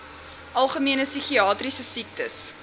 algemene psigiatriese siektes